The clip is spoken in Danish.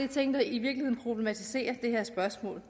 ting der i virkeligheden problematiserer det her spørgsmål